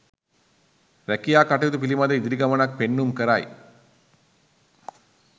රැකියා කටයුතු පිළිබඳ ඉදිරි ගමනක් පෙන්නුම් කරයි.